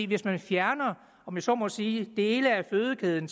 hvis man fjerner om jeg så må sige dele af fødekæden